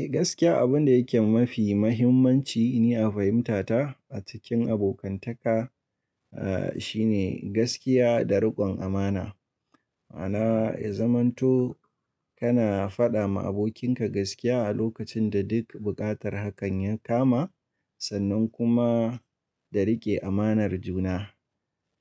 Eh gaskiya abun da yake mafi mahimmanci ni a fahimtata a cikin abokantaka, ah shine gaskiya da rikon amana. Ma'ana, ya zamanto kana fada ma abokinka gaskiya a lokacin da duk buƙatar hakan ya kama, sannan kuma da rike amanar juna,